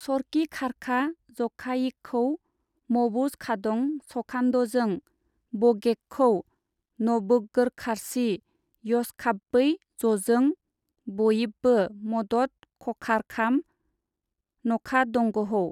सरकिखारखा जखायिखहौ मबोजखादं सखान्दजों बगेखहौ नबोगबोरखारची यहसखाबबै जजों बयिबबो मदद खखारखाम नखादंगहौ।